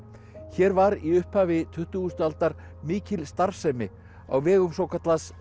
hér var í upphafi tuttugustu aldar mikil starfsemi á vegum svokallaðs